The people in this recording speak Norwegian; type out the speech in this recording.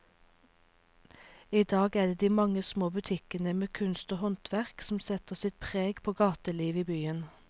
I dag er det de mange små butikkene med kunst og håndverk som setter sitt preg på gatelivet i byen.